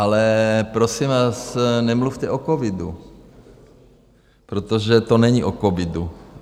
Ale prosím vás, nemluvte o covidu, protože to není o covidu.